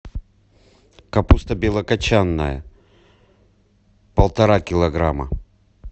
капуста белокочанная полтора килограмма